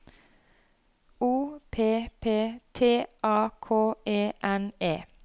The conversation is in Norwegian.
O P P T A K E N E